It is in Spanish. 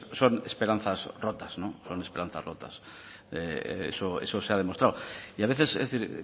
son esperanzas rotas son esperanzas rotas eso se ha demostrado y a veces es decir